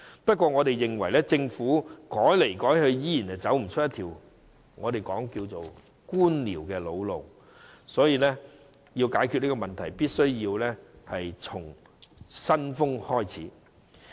不過，我們認為政府改來改去仍無法走出那條我們稱之為官僚的老路，所以要解決這個問題，必須從"新風"開始。